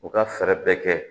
U ka fɛɛrɛ bɛɛ kɛ